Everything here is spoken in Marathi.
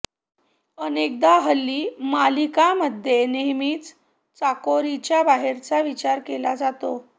अनेकदा हल्ली मालिकांमध्ये नेहमीच चाकोरीच्या बाहेरचा विचार केला जातो